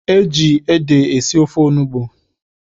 E ji ede esi ofe onugbu.